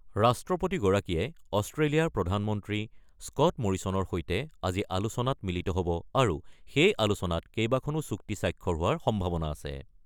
ৰাষ্ট্ৰপতিগৰাকীয়ে অষ্ট্ৰেলিয়াৰ প্ৰধানমন্ত্ৰী স্কট মৰিছনৰ সৈতে আজি আলোচনাত মিলিত হ'ব আৰু সেই আলোচনাত কেইবাখনো চুক্তি স্বাক্ষৰ হোৱাৰ সম্ভাৱনা আছে।